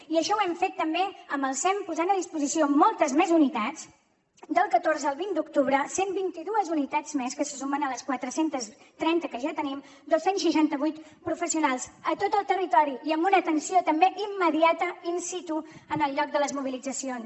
i això ho hem fet també amb el sem posant a disposició moltes més unitats del catorze al vint d’octubre cent i vint dos unitats més que se sumen a les quatre cents i trenta que ja tenim dos cents i seixanta vuit professionals a tot el territori i amb una atenció també immediata in situ en el lloc de les mobilitzacions